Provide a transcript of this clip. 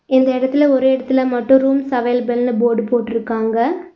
இந்த எடத்துல ஒரு எடத்துல மட்டு ரூம்ஸ் அவைலபில்னு போர்டு போட்ருக்காங்க.